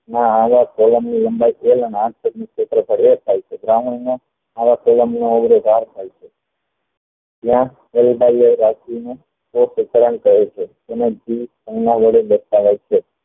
કહે છે